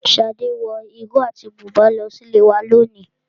Shade wọ ìró àti bùbá lọ sí ilé ìwé lónìí.